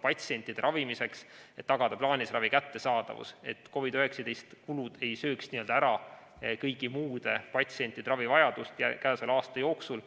patsientide ravimiseks, et tagada plaanilise ravi kättesaadavus, et COVID‑19 kulud ei sööks n‑ö ära kõigi muude patsientide ravivajaduse rahastamist käesoleva aasta jooksul.